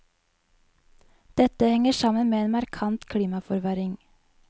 Dette henger sammen med en markant klimaforverring.